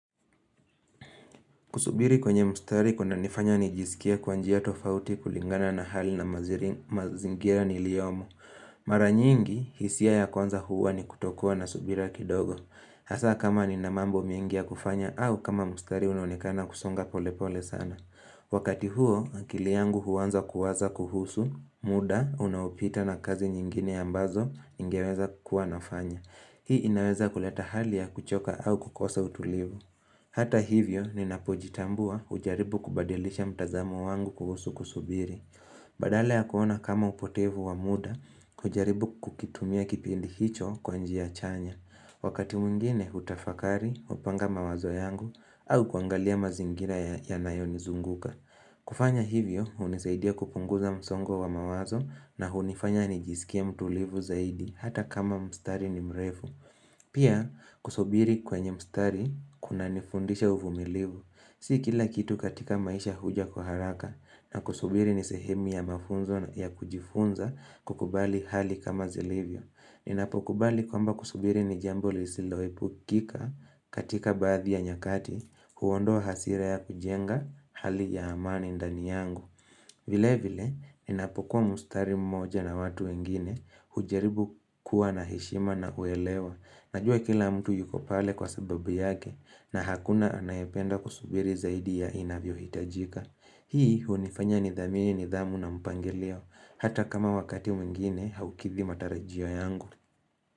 Kusubiri kwenye mustari kunanifanya nijiskie kwa njia tofauti kulingana na hali na mazingira niliyomo Mara nyingi, hisia ya kwanza huwa ni kutokuwa na subira kidogo. Hasa kama nina mambo mengi ya kufanya au kama mustari unaonekana kusonga pole pole sana. Wakati huo, akili yangu huanza kuwaza kuhusu, muda, unaopita na kazi nyingine ambazo, ningeweza kuwa nafanya. Hii inaweza kuleta hali ya kuchoka au kukosa utulivu. Hata hivyo, ninapojitambua hujaribu kubadilisha mtazamo wangu kuhusu kusubiri. Badala ya kuona kama upotevu wa muda, hujaribu kukitumia kipindi hicho kwa njia chanya. Wakati mwingine, hutafakari, kupanga mawazo yangu, au kuangalia mazingira yanayonizunguka. Kufanya hivyo, hunisaidia kupunguza msongo wa mawazo na hunifanya nijiskie mtulivu zaidi, hata kama mstari ni mrefu. Pia kusubiri kwenye mstari kuna nifundisha uvumilivu. Si kila kitu katika maisha huja kwa haraka na kusubiri ni sehemi ya mafunzo na ya kujifunza kukubali hali kama zilivyo. Ninapokubali kwamba kusubiri ni jambo lisiloepukika katika baadhi ya nyakati huondoa hasira ya kujenga hali ya amani ndani yangu. Vile vile ninapokuwa mustari mmoja na watu wengine hujaribu kuwa na heshima na uelewa Najua kila mtu yuko pale kwa sababu yake na hakuna anayependa kusubiri zaidi ya inavyohitajika Hii hunifanya nidhamini nidhamu na mpangilio hata kama wakati mwingine haukithi matarajio yangu.